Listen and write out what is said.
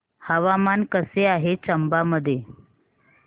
हवामान कसे आहे चंबा मध्ये